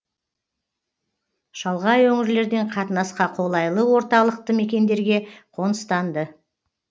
шалғай өңірлерден қатынасқа қолайлы орталықты мекендерге қоныстанды